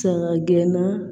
Saga gɛnna